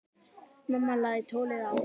Mamma lagði tólið á.